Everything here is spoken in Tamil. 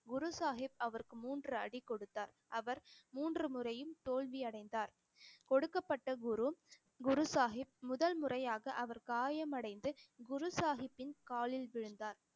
குரு சாஹிப் அவருக்கு மூன்று அடி கொடுத்தார் அவர் மூன்று முறையும் தோல்வி அடைந்தார் கொடுக்கப்பட்ட குரு குரு சாஹிப் முதல்முறையாக அவர் காயமடைந்து குரு சாஹிப்பின் காலில் விழுந்தார்